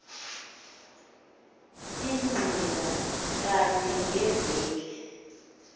inqila kanye ngeveki